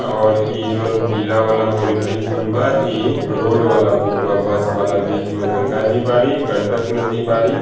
और इ जोन पीला वाला बाउंड्री पुल बा इ रोड वाला पूल बा बस वाला बीच में गंगा जी बाड़ी गंडक नदी बाड़ी।